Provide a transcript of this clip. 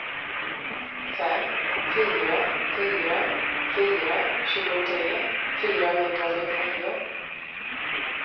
fem fyra fyra fyra tjugotre fyrahundrasjuttionio